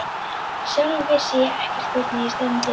Sjálf vissi ég ekkert hvert ég stefndi.